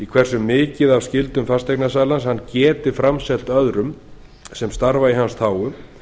hversu mikið af skyldum fasteignasalans hann getur framselt öðrum sem starfa í hans þágu